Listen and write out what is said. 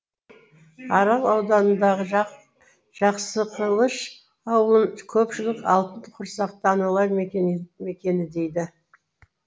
арал ауданындағы жақсықылыш ауылын көпшілік алтын құрсақты аналар мекені дейді